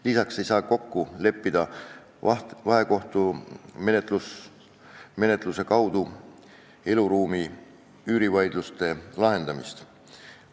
Lisaks ei saa kokku leppida vahekohtumenetluses eluruumi üüri vaidluste lahendamist.